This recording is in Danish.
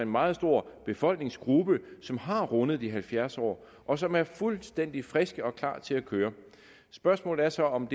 meget stor befolkningsgruppe som har rundet de halvfjerds år og som er fuldstændig friske og klar til at køre spørgsmålet er så om